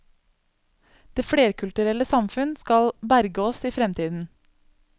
Det flerkulturelle samfunn skal berge oss i fremtiden.